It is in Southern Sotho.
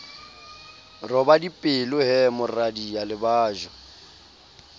roba dipelo he moradia lebajwa